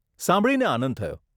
સાંભળીને આનંદ થયો